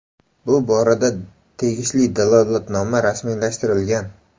Bu borada tegishli dalolatnoma rasmiylashtirilgan.